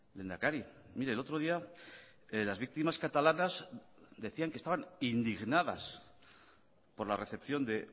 lehendakari mire el otro día las víctimas catalanas decían que estaban indignadas por la recepción de